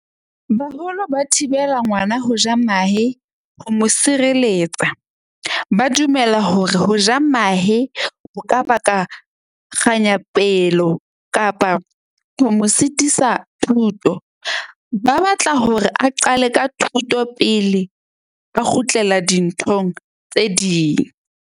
Baholo ba thibela ngwana ho ja mahe ho mo sireletsa. Ba dumela hore ho ja mahe ho ka baka kganyapelo kapa ho mo sitisa thuto. Ba batla hore a qale ka thuto pele a kgutlela dinthong tse ding.